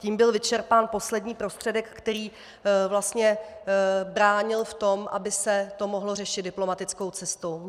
Tím byl vyčerpán poslední prostředek, který vlastně bránil v tom, aby se to mohlo řešit diplomatickou cestou.